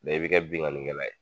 i bɛ kɛ binganni kɛla ye.